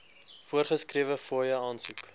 voorgeskrewe fooie aansoek